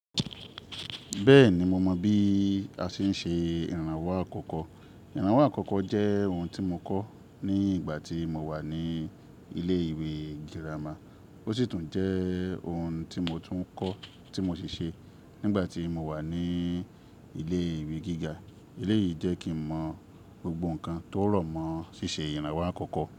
Bẹ́ẹ̀ni, mo mọ bí a ṣe ń ṣe ìrànwọ́ àkọ́kọ́. Ìrànwọ́ àkọ́kọ́ jẹ́ ohun tí mo kọ́ ní ìgbà tí mo wà ní ilé ìwé gírámà. Ó sì tún jẹ́ ohun tí mo tún kọ́, tí mo sì ṣe nígbà tí mo wà ní ilé ìwé gíga. Ilé yìí jẹ́ kí n mọ gbogbo nǹkan tó rọ̀ mọ́ ṣíṣe ìrànwọ́ àkọ́kọ́